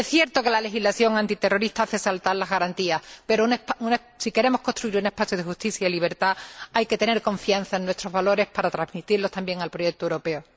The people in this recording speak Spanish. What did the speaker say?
Es cierto que la legislación antiterrorista hace saltar las garantías, pero, si queremos construir un espacio de justicia y libertad, hay que tener confianza en nuestros valores para transmitirlos también al proyecto europeo.